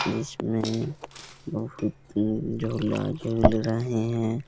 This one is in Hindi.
बीच में बहुत झूला-झूल रहे हैं।